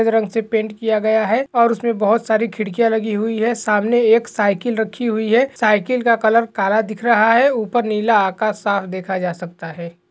रंग से पेंट किया गया है और उसमे बहुत सारी खिड्किया लगी हुई है सामने एक साइकिल रखी हुई है साइकिल का कलर काला दिख रहा है ऊपर नीला आकाश साफ देखा जा सकता है।